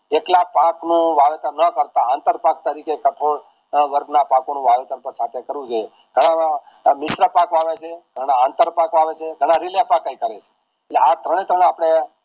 જેટલા પાકનું ના કરતા આંતર પાક તરીકે કટોડ વર્ગ ના પાકોનું આયોજન કરવું જોઈએ ઘણા પાકો આવે છે ઘણા અંતર પાકો આવે છે ઘણા કરે છે આ ત્રણે ત્રણ આપડે